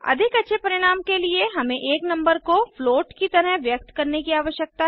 अधिक अच्छे परिणाम के लिए हमें एक नंबर को फ्लोट की तरह व्यक्त करने की आवश्यकता है